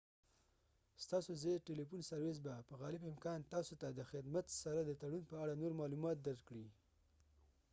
ستاسو ځايي ټیلیفون سروس به په غالب امکان تاسو ته خدمت سره د تړون په اړه نور معلومات درکړي